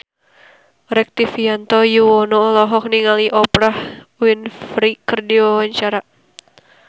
Rektivianto Yoewono olohok ningali Oprah Winfrey keur diwawancara